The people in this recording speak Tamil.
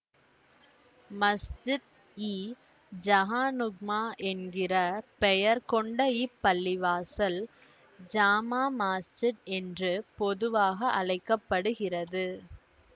மஸ்ஜித் இ ஜஹான்நுஃமா என்கிற பெயர் கொண்ட இப்பள்ளிவாசல் ஜாமா மாஸ்ஜித் என்று பொதுவாக அழைக்க படுகிறது